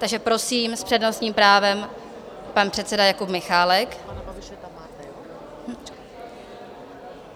Takže prosím, s přednostním právem pan předseda Jakub Michálek.